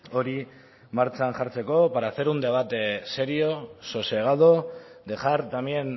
hori martxan jartzeko para hacer un debate serio sosegado dejar también